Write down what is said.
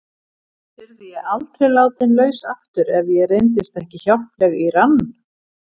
Yrði ég aldrei látin laus aftur ef ég reyndist ekki hjálpleg í rann